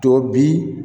To bi